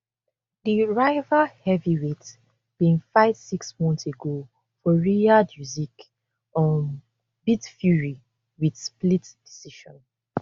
di rival heavyweights bin fight six months ago for riyadh usyk um beat fury wit split decision